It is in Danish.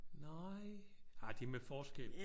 Nej. Nej de er med forskel